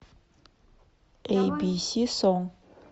эй би си сонг